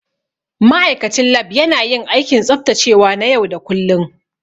Ma'aikacin Lab yana yin aikin tsaftacewa na yau da kullun.